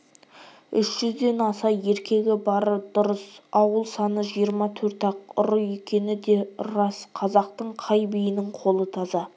үш жүзден аса еркегі бары дұрыс ауыл саны жиырма төрт-ақ ұры екені де рас қазақтың қай биінің қолы таза